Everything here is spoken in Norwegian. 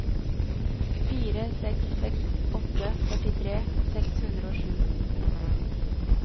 fire seks seks åtte førtitre seks hundre og sju